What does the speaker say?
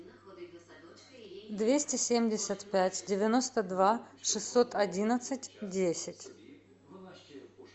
двести семьдесят пять девяносто два шестьсот одиннадцать десять